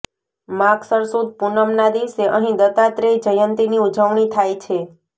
માગસર સુદ પૂનમના દિવસે અહીં દત્તાત્રેય જયંતિની ઉજવણી થાય છે